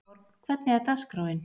Sigurborg, hvernig er dagskráin?